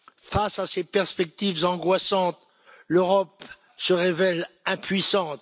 Face à ces perspectives angoissantes, l'Europe se révèle impuissante.